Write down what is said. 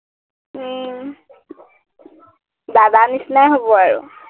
উম দাদাৰ নিচিনাই হব আৰু